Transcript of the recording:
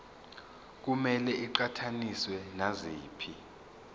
kumele iqhathaniswe naziphi